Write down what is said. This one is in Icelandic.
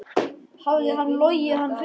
Hafði hún logið hann fullan?